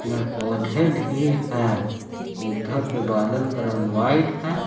पेड़ पौधे भी हैं इधर पे बादल का रंग व्हाइट है।